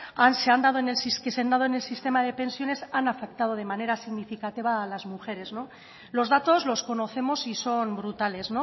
que se han dado en el sistema de pensiones han afectado de manera significativa a las mujeres los datos los conocemos y son brutales